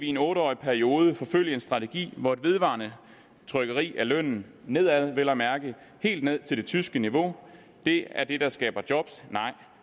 en otte årig periode forfølge en strategi hvor et vedvarende trykkeri af lønnen nedad vel at mærke helt ned til det tyske niveau er det der skaber job